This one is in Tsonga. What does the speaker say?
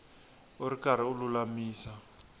u ri karhi u lulamisa